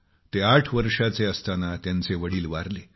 ते आठ वर्षांचे झाले तेव्हा त्यांचे वडील वारले